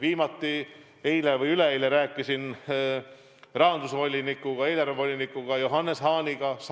Viimati eile või üleeile ma rääkisin rahandus- ehk eelarvevolinik Johannes Hahniga.